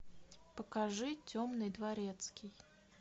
покажи темный дворецкий